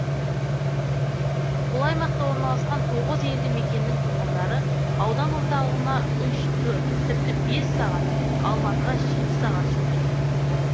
бұл аймақта орналасқан тоғыз елді мекеннің тұрғындары аудан орталығына үш төрт тіпті бес сағат алматыға жеті сағат жол жүреді